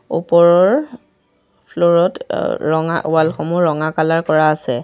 ওপৰৰ ফ্লৰ ত অ ৰঙা ৱাল সমূহ ৰঙা কালাৰ কৰা আছে।